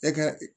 E ka